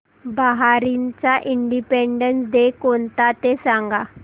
बहारीनचा independence day कोणता ते सांगा